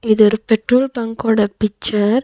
இது ஒரு petrol bunk ஓட பிச்சர் .